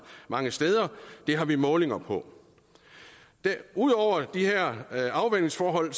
mange steder det har vi målinger på ud over de her afvandingsforhold